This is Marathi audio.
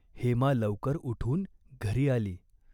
हेमा लवकर उठून घरी आली.